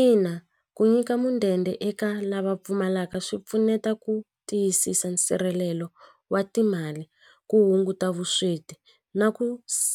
Ina ku nyika mudende eka lava pfumalaka swi pfuneta ku tiyisisa nsirhelelo wa timali ku hunguta vusweti na ku